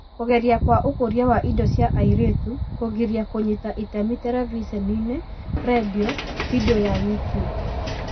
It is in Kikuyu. Kũgeria kwa ũkũria wa indo cia airĩtu kũgiria kũnyita itemi terebiceni-inĩ, rendio, bindio ya YouTube